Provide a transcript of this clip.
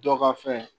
Dɔ ka fɛn